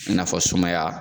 I n'a fɔ sumaya